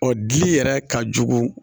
O di yɛrɛ ka jugu